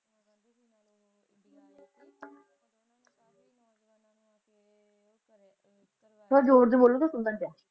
ਥੋੜਾ ਜ਼ੋਰ ਦੀ ਬੋਲੋਂਗੇ ਸੁਣਦਾ ਨਹੀਂ ਪਿਆ